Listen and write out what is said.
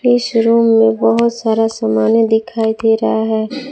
इस रूम में बहुत सारा समाने दिखाई दे रहा है।